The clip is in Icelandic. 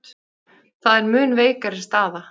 Það er mun veikari staða.